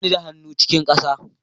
Ba ni da hannu cikin sa